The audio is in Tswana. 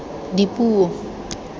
dipuo